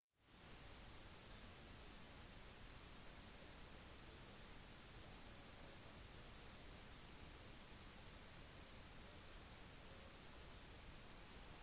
den tyrkisk dansegruppen fire of anatolia avsluttet med opptredenen «troy»